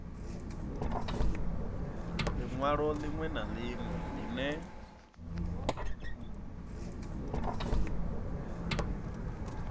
linwalo linwe na linwe line